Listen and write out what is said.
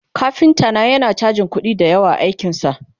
kafinta na yana chajin kuɗi da yawa a aikinsa